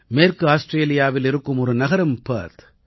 மேற்கு ஆஸ்ட்ரேலியாவில் இருக்கும் ஒரு நகரம் பெர்த்